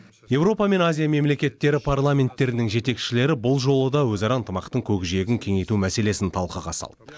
еуропа мен азия мемлекеттері парламенттерінің жетекшілері бұл жолы да өзара ынтымақтың көкжиегін кеңейту мәселесін талқыға салды